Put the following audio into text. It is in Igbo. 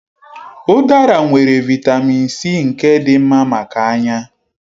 Udara nwere Vị́tamị́n C nke dị mma maka anya.